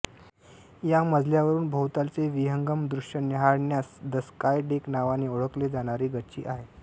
या मजल्यावरून भोवतालाचे विहंगम दृश्य न्याहाळण्यास द स्काय डेक नावाने ओळखले जाणारी गच्ची आहे